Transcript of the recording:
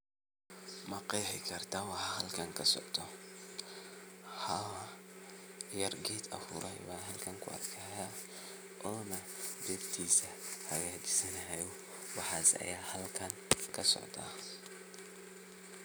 Haa yar ged guray ayan halkan kuarka ona bertisa hagajisanayo, waxas aya halkan kasocda.